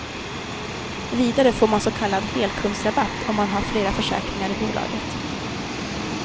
Vidare får man så kallad helkundsrabatt om man har flera försäkringar i bolaget.